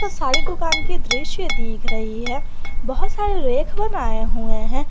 साड़ी दुकान के दृश्य दिख रही है बहुत सारी रैक बनाए हुए हैं।